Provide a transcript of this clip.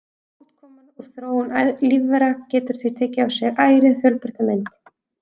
Útkoman úr þróun lífvera getur því tekið á sig ærið fjölbreytta mynd.